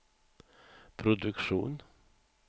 produktion